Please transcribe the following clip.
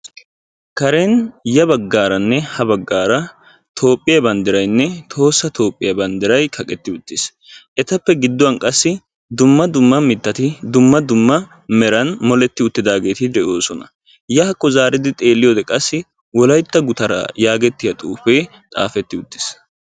Karen ya baggaaranne ha baggaara toophphiyaa banddirayinne tohossa toophphiyaa banddiray kaeqqetti uttiis. etappe gidduwaan qassi dumma dumma mittati dumma dumma qottan moletti uttidaageti de'oosona. yaakko xeelliyoo qassi wolaytta gutaraa yaagiyaagee xaafetti uttiis.